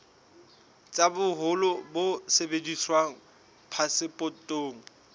tsa boholo bo sebediswang phasepotong